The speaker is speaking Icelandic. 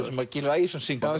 sem Gylfi Ægisson syngur